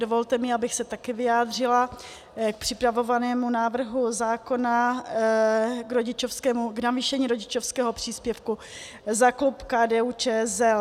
Dovolte mi, abych se také vyjádřila k připravovanému návrhu zákona, k navýšení rodičovského příspěvku, za klub KDU-ČSL.